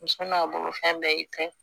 Muso n'a bolo fɛn bɛɛ y'i ta ye